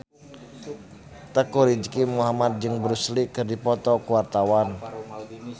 Teuku Rizky Muhammad jeung Bruce Lee keur dipoto ku wartawan